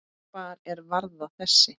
Hvar er varða þessi?